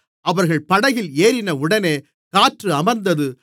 அவர்கள் படகில் ஏறினவுடனே காற்று அமர்ந்தது